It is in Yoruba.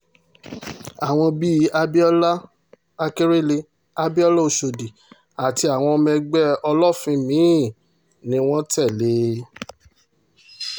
àwọn bí abiola àkèrélé abiola ọ̀ṣọ́dì àti àwọn ọmọ ẹgbẹ́ olófin mì-ín ni wọ́n tẹ̀lé e